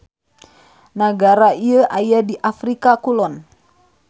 Nagara ieu aya di Afrika Kulon.